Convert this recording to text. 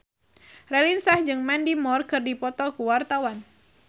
Raline Shah jeung Mandy Moore keur dipoto ku wartawan